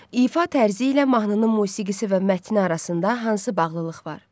İfa tərzi ilə mahnının musiqisi və mətni arasında hansı bağlılıq var?